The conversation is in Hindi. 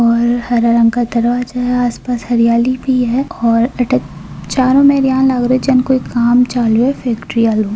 और हरा रंग का दरवाजा आसपास हरियाली भी हैऔर चारो मेर एया लाग रो जेया काम चल रो है फैक्ट्री आरो--